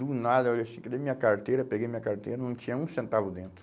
Do nada, eu olhei assim, cadê minha carteira, peguei minha carteira, não tinha um centavo dentro.